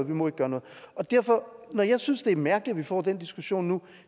må gøre noget når jeg synes det er mærkeligt at vi får den diskussion nu